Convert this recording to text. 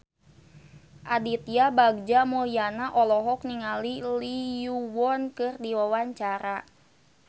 Aditya Bagja Mulyana olohok ningali Lee Yo Won keur diwawancara